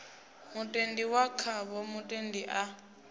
mutendi wa khavho mutendi a